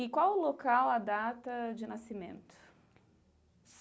E qual o local, a data de nascimento?